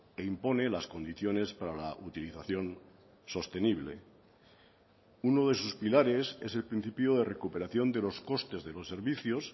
e impone las condiciones para la utilización sostenible uno de sus pilares es el principio de recuperación de los costes de los servicios